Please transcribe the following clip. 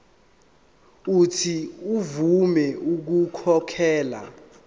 uuthi avume ukukhokhela